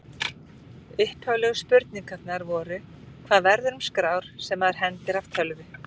Upphaflegu spurningarnar voru: Hvað verður um skrár sem maður hendir af tölvu?